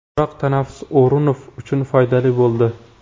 Biroq tanaffus O‘runov uchun foydali bo‘ldi.